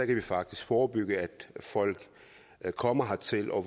kan faktisk forebygge at folk kommer hertil og